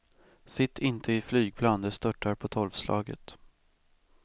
Sitt inte i flygplan, de störtar på tolvslaget.